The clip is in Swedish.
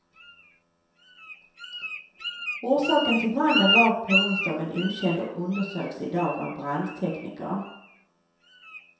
Orsaken till branden var på onsdagen okänd och undersöks i dag av brandtekniker.